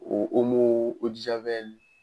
O